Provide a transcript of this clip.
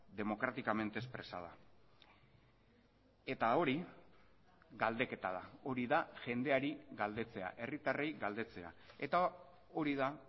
democráticamente expresada eta hori galdeketa da hori da jendeari galdetzea herritarrei galdetzea eta hori da